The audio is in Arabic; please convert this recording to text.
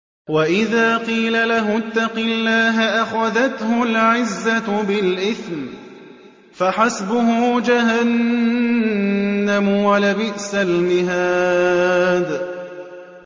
وَإِذَا قِيلَ لَهُ اتَّقِ اللَّهَ أَخَذَتْهُ الْعِزَّةُ بِالْإِثْمِ ۚ فَحَسْبُهُ جَهَنَّمُ ۚ وَلَبِئْسَ الْمِهَادُ